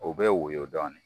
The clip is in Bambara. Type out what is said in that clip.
U bɛ woyo dɔɔni.